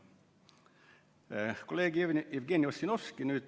Nüüd hakkas rääkima kolleeg Jevgeni Ossinovski.